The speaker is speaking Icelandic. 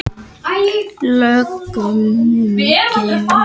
Lögum um gengishagnað breytt